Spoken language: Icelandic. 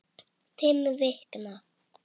Fimm vikna.